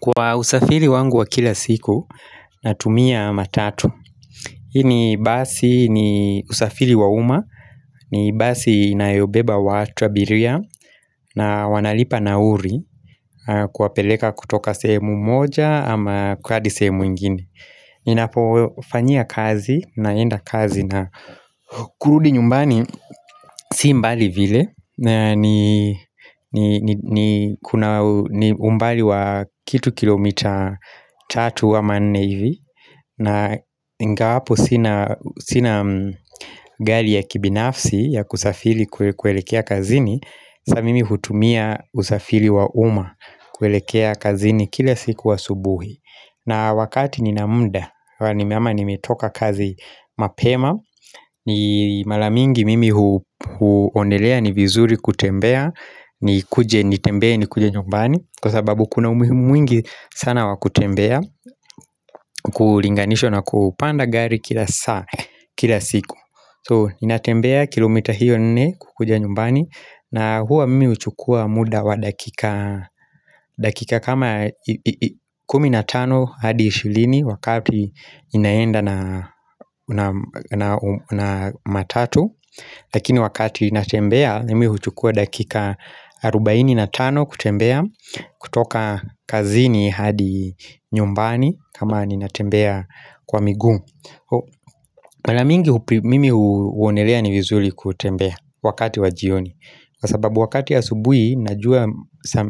Kwa usafiri wangu wa kila siku, natumia matatu Hii ni basi ni usafiri wa uma, ni basi inayobeba watu abiria na wanalipa nauli, kuwapeleka kutoka sehemu moja ama kwa hadi sehemu ingine Ninapofanyia kazi, naenda kazi na kurudi nyumbani, si mbali vile na ni kuna umbali wa kitu kilomita tatu ama nne ivi na ingawapo sina gari ya kibinafsi ya kusafiri kuelekea kazini Sa mimi hutumia usafiri wa uma kuelekea kazini kila siku asubuhi na wakati nina muda ama nimetoka kazi mapema ni mara mingi mimi huonelea ni vizuri kutembea Nikuje nitembee nikuje nyumbani Kwa sababu kuna umuhimu mwingi sana wa kutembea Kulinganishwa na kupanda gari kila saa kila siku So ninatembea kilomita hiyo nne kukuja nyumbani na huwa mimi huchukua muda wa dakika dakika kama 15 hadi 20 wakati inaenda na na matatu Lakini wakati natembea nimi huchukua dakika 45 kutembea kutoka kazini hadi nyumbani kama ninatembea kwa miguu Mara mingi mimi huonelea ni vizuri kutembea wakati wa jioni Kwa sababu wakati ya asubuhi najua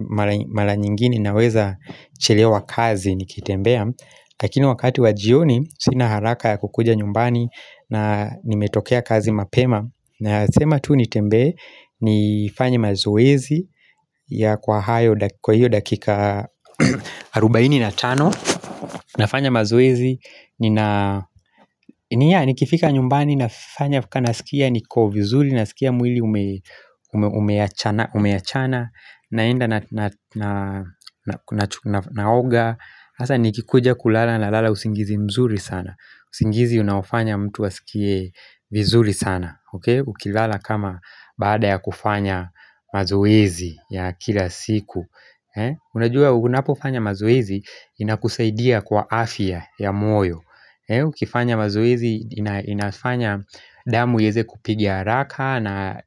mara mara nyingine naweza chelewa kazi nikitembea Lakini wakati wa jioni sina haraka ya kukuja nyumbani na nimetokea kazi mapema Nasema tu nitembee nifanye mazoezi ya kwa hiyo dakika 40 na tano nafanya mazoezi nina ni ya nikifika nyumbani nafanya kwa nasikia niko vizuri Nasikia mwili umeachana naenda na naoga Hasa nikikuja kulala nalala usingizi mzuri sana usingizi unaofanya mtu asikie vizuri sana Ukilala kama baada ya kufanya mazoezi ya kila siku Unajua unapofanya mazoezi inakusaidia kwa afya ya moyo Ukifanya mazoezi inafanya damu yaeze kupigia haraka na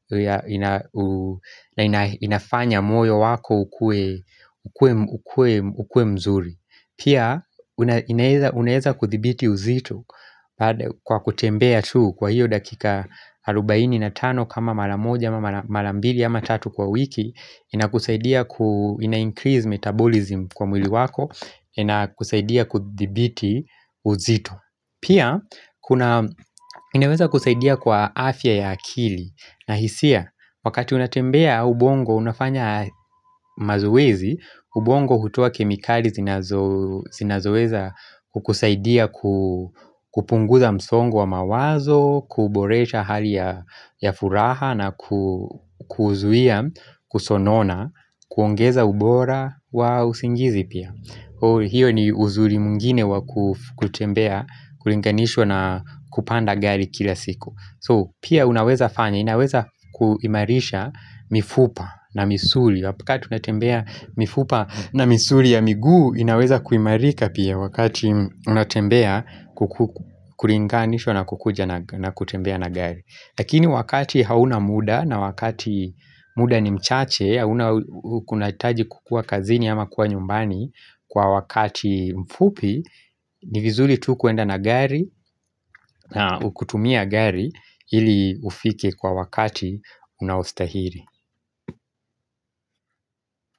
inafanya moyo wako ukuwe ukue mzuri Pia, unaeza kudhibiti uzito kwa kutembea tu kwa hiyo dakika arubaini na tano kama mara moja, ama mara mbili, ama tatu kwa wiki inakusaidia ku increase metabolism kwa mwili wako, inakusaidia kudhibiti uzito Pia, inaweza kusaidia kwa afya ya akili na hisia, wakati unatembea ubongo unafanya mazoezi, ubongo hutoa kemikali zinazoeza kukusaidia ku kupunguza msongo wa mawazo, kuboresha hali ya furaha na kuzuia, kusonona, kuongeza ubora wa usingizi pia. Hio ni uzuri mwingine wa kutembea, kulinganishwa na kupanda gari kila siku. So pia unaweza fanya, inaweza kuimarisha mifupa na misuli Wakati unatembea mifupa na misuli ya miguu, inaweza kuimarika pia wakati unatembea kulinganishwa na kukuja na kutembea na gari Lakini wakati hauna muda na wakati muda ni mchache, hauna kunahitaji kukua kazini ama kuwa nyumbani Kwa wakati mfupi ni vizuri tu kuenda na gari na ukitumia gari ili ufike kwa wakati unaostahili.